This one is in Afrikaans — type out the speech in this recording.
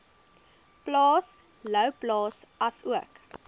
plaas louwplaas asook